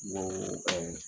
Noooo